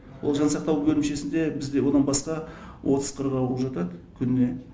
ол жансақтау бөлімшесінде бізде одан басқа отыз қырық ауру жатады күніне